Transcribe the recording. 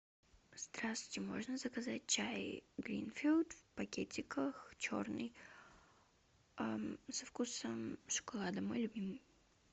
здравствуйте можно заказать чай гринфилд в пакетиках черный со вкусом шоколада мой любимый